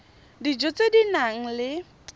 dijo tse di nang le